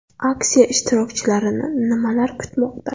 Aksiya ishtirokchilarini nimalar kutmoqda?